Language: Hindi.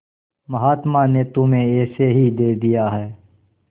महात्मा ने तुम्हें ऐसे ही दे दिया है